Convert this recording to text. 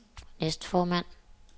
næstformand